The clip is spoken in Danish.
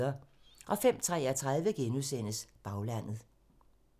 05:33: Baglandet *